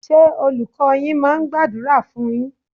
Ṣé Olùkọ́ọ yín máa ń gbàdúrà fún un yín?